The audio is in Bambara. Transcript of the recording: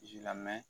lamɛn